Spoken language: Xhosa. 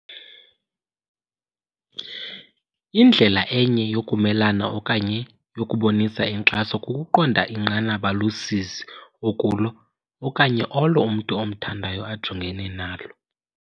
"Indlela enye yokumelana okanye yokubonisa inkxaso kukuqonda inqanaba losizi okulo okanye olo umntu omthandayo ajongene nalo."